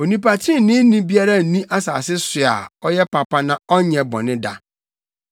Onipa treneeni biara nni asase so a ɔyɛ papa na ɔnyɛ bɔne da.